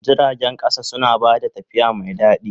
Jiragen ƙasa suna ba da tafiya mai daɗi.